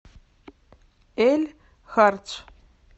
эль хардж